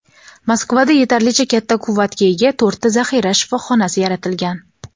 Moskvada yetarlicha katta quvvatga ega to‘rtta zaxira shifoxonasi yaratilgan.